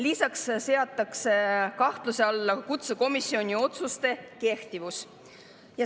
Lisaks seatakse kahtluse alla kutsekomisjoni otsuste kehtivus.